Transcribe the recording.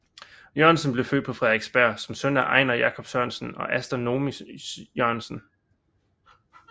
Jørgensen blev født på Frederiksberg som søn af Einar Jacob Sørensen og Asta Noomi Jørgensen